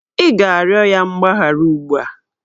Ị ga-arịọ ya mgbaghara ugbu a!